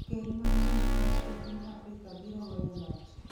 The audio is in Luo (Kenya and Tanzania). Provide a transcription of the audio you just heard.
ker ma miyo kende e piny Afrika biro weyo loch